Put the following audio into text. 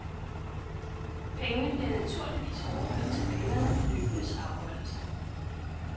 Pengene bliver naturligvis overført til banerne ved løbenes afholdelse.